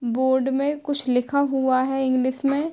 Board में कुछ लिखा हुआ है इंग्लिश में।